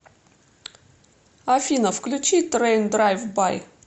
афина включи трэйн драйв бай